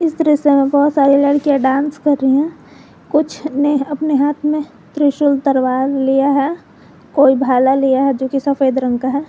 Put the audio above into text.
इस दृश्य में बहोत सारी लड़कियां डांस कर रही हैं कुछ ने अपने हाथ में त्रिशूल तलवार लिया है कोई भाला लिया है जो कि सफेद रंग का है।